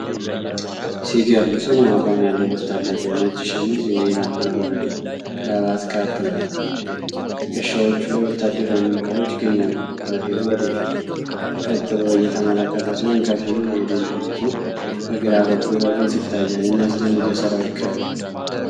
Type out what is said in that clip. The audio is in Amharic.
ሲገርም! ጽኑ አቋም ያለው ወታደር ነው። ነጭ ሸሚዝ፣ የወይራ አረንጓዴ ክራባትና ካፕ ለብሷል። በትከሻዎቹ ላይ ወታደራዊ ምልክቶች ይገኛሉ። ወታደሩ ወደፊት ቀጥ ብሎ እየተመለከተ ሲሆን፣ ከፊሉ የደንብ ልብሱ በግራ በኩል በግልጽ ይታያል። የሚያስደንቅ የሰራዊት ክብር!